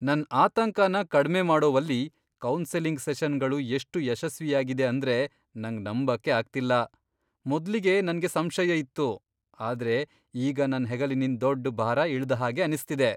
ನನ್ ಆತಂಕನ ಕಡ್ಮೆ ಮಾಡೋವಲ್ಲಿ ಕೌನ್ಸೆಲಿಂಗ್ ಸೆಷನ್ಗಳು ಎಷ್ಟು ಯಶಸ್ವಿಯಾಗಿದೆ ಅಂದ್ರೆ ನಂಗ್ ನಂಬಕ್ಕೆ ಆಗ್ತಿಲ್ಲ. ಮೊದ್ಲಿಗೆ ನನ್ಗೆ ಸಂಶಯ ಇತ್ತು, ಆದ್ರೆ ಈಗ ನನ್ ಹೆಗಲಿನಿಂದ್ ದೊಡ್ ಭಾರ ಇಳ್ದ ಹಾಗೆ ಅನಿಸ್ತಿದೆ.